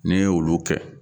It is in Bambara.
Ni y'olu kɛ, olu